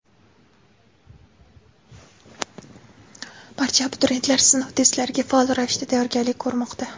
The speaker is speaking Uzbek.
Barcha abituriyentlar sinov testlariga faol ravishda tayyorgarlik ko‘rmoqda.